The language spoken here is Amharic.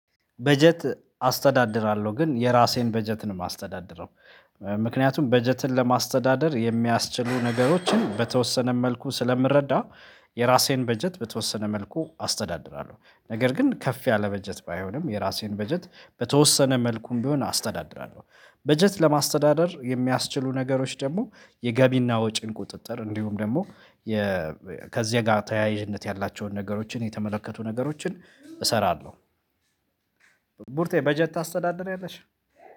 በጀት አስተዳድራለሁ ግን የራሴን በጀትን ማስተዳደር ነው ምክንያቱም በጀትን ለማስተዳደር የሚያስችሉ ነገሮችን በተወሰነ መልኩ ስለምረዳ የራሴን በጀት በተወሰነ መልኩ አስተዳድራለሁ ነገር ግን ከፍ ያለ በጀት ባይሆንም የራሴን በጀት በተወሰነ መልኩም ቢሆን አስተዳድራለሁ በጀት ለማስተዳደር የሚያስችሉ ነገሮች ደግሞ የገቢና ወጪን ቁጥጥር እንዲሁም ደግሞ ከዚህ ጋር ተያይዥነት ያላቸውን ነገሮችን የተመለከቱ ነገሮችን እሰራለሁ ቡርቴ በጀት ታስተዳደር ያለሽ?